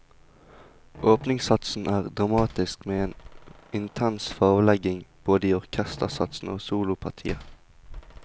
Åpningssatsen er dramatisk med en intens farvelegging både i orkestersatsen og solopartiet.